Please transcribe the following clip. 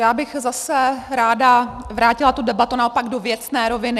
Já bych zase ráda vrátila tu debatu naopak do věcné roviny.